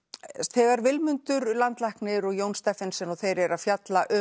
þegar Vilmundur landlæknir og Jón Steffensen og þeir eru að fjalla um